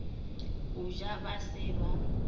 go ja ba se ba